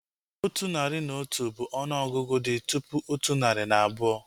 Otu narị na otu bụ ọnụ ọgụgụ dị tụpụ otu narị na abụọ